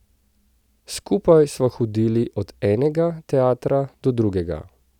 Skupaj sva hodili od enega teatra do drugega.